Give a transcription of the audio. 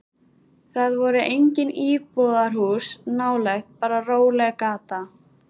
Það voru engin íbúðarhús nálægt, bara róleg gata.